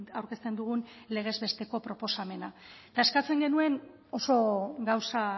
aurkezten dugun legez besteko proposamena eta eskatzen genuen oso gauza